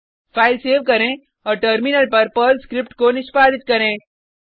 file save करें औऱ terminal पर पर्ल स्क्रिप्ट को निष्पादित करें